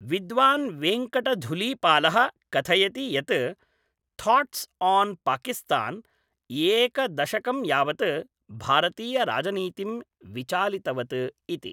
विद्वान् वेङ्कटधुलीपालः कथयति यत् थाट्स् आन् पाकिस्तान्, एकदशकं यावत् भारतीयराजनीतिं विचालितवत् इति।